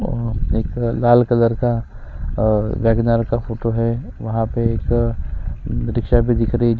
अम्म एक लाल कलर का और अंबेडकर का फोटो है वहां पे एक रिक्शा भी दिख रही है जिस--